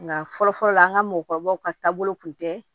Nka fɔlɔ fɔlɔ la an ka mɔgɔkɔrɔbaw ka taabolo kun tɛ